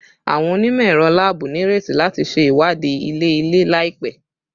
Awọn onimọ-ẹrọ laabu nireti lati ṣe iwadii ilẹ-ilẹ laipẹ